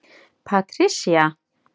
Patricia